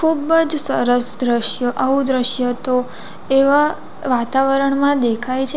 ખૂબ જ સરસ દ્રશ્ય આવું દ્રશ્ય તો એવા વાતાવરણમાં દેખાય છે.